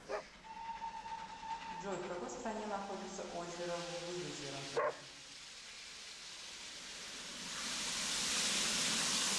джой в какой стране находится озеро выгозеро